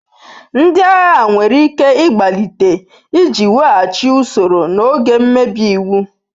Ndị agha nwere ike ịgbalite iji weghachi usoro n'oge mmebi iwu.